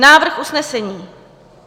Návrh usnesení: